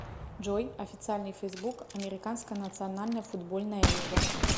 джой официальный фейсбук американская национальная футбольная лига